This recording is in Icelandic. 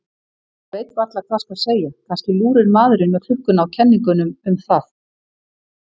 Ég veit varla hvað skal segja, kannski lúrir maðurinn með klukkuna á kenningum um það.